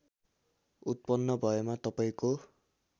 उत्पन्न भएमा तपाईँको